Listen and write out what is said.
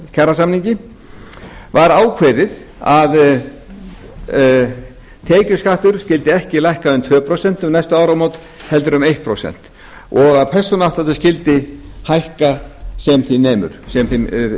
kjarasamningi var ákveðið að tekjuskattur skyldi ekki lækka um tvö prósent um næstu áramót heldur um eitt prósent og að persónuafsláttur skyldi hækka sem þeim